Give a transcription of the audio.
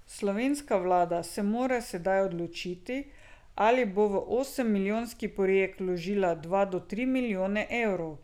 Slovenska vlada se mora sedaj odločiti ali bo v osem milijonski projekt vložila dva do tri milijone evrov.